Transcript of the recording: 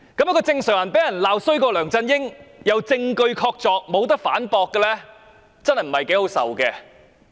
一個正常人被人罵比梁振英更差，而且證據確鑿不能反駁，真的不大好受。